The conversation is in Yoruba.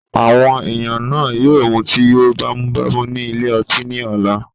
Àwọn èèyàn náà yóò mutí yó bámúbámú ní ilé ọtí ni ọ̀la